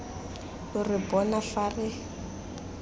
lo re bona fa re